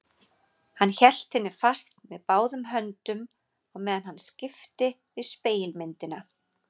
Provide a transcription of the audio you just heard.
Hann hélt henni fast með báðum höndum á meðan hann skipti við spegilmyndina.